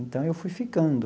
Então, eu fui ficando.